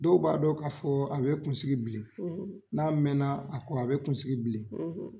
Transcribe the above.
Dɔw b'a dɔn k'a fɔ, a bɛ kunsigi bilen n'a mɛna a kɔ a bi kunsigi bilen